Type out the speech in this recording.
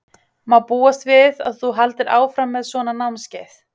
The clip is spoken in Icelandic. Má búast við að þú haldir áfram með svona námskeið?